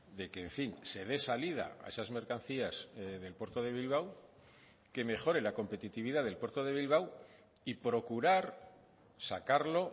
de que en fin se dé salida a esas mercancías del puerto de bilbao que mejore la competitividad del puerto de bilbao y procurar sacarlo